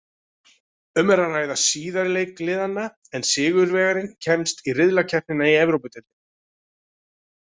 Um er að ræða síðari leik liðanna en sigurvegarinn kemst í riðlakeppnina í Evrópudeildinni.